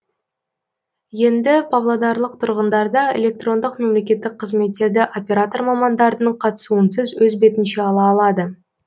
енді павлодарлық тұрғындарда электрондық мемлекеттік қызметтерді оператор мамандардың қатысуынсыз өз бетінше ала алады